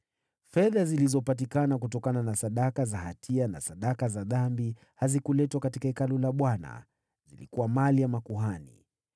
Fedha zilizopatikana kutokana na sadaka za hatia na sadaka za dhambi hazikuletwa katika Hekalu la Bwana ; zilikuwa mali ya makuhani.